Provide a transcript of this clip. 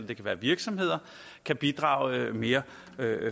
det kan være virksomheder kan bidrage mere